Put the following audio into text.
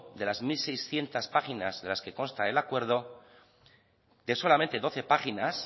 de las mil seiscientos páginas de las que consta el acuerdo que solamente doce páginas